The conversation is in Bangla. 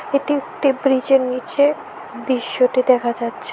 এটি একটি ব্রিজের নীচে দৃশ্যটি দেখা যাচ্ছে।